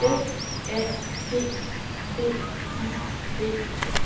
F A G D I D